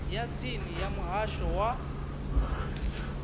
ya tsini ya muhasho wa